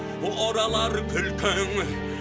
оралар күлкің